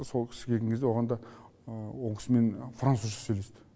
сол кісі келген кезде оған да ол кісімен французша сөйлесті